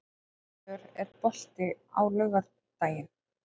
Hallvör, er bolti á laugardaginn?